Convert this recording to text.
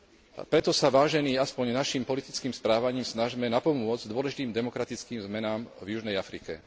A preto sa, vážení, aspoň našim politickým správaním snažme napomôcť dôležitým demokratickým zmenám v Južnej Afrike.